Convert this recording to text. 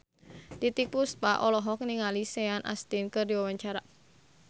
Titiek Puspa olohok ningali Sean Astin keur diwawancara